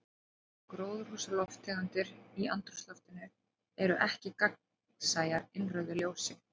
Gróðurhúsalofttegundir í andrúmsloftinu eru ekki gagnsæjar innrauðu ljósi.